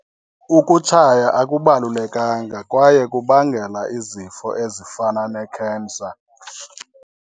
Ukutshaya akubalulekanga kwaye kubangela izifo ezifana nekhensa.